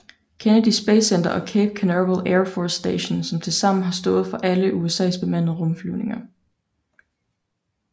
Kennedy Space Center og Cape Canaveral Air Force Station som tilsammen har stået for alle USAs bemandede rumflyvninger